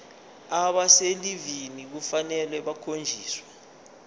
abaselivini kufanele bakhonjiswe